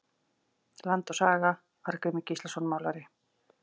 Land og saga- Arngrímur Gíslason málari.